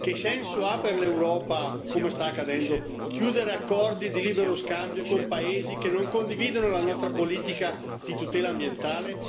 Che senso ha per l'Europa, come sta accadendo, chiudere accordi di libero scambio con Paesi che non condividono la nostra politica di tutela ambientale?